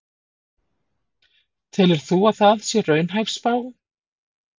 Telur þú að það sé raunhæf spá?